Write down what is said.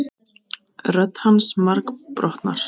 Rödd hans margbrotnar.